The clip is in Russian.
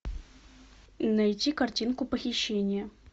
найти картинку похищение